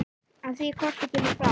Á því korti kemur fram